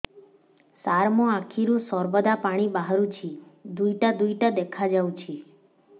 ସାର ମୋ ଆଖିରୁ ସର୍ବଦା ପାଣି ବାହାରୁଛି ଦୁଇଟା ଦୁଇଟା ଦେଖାଯାଉଛି